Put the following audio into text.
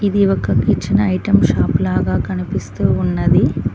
ఇది ఒక kitchen item shop లాగా కనిపిస్తూ ఉన్నది.